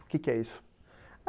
O que que é isso?